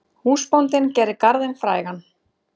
Húsbóndinn gerir garðinn frægan.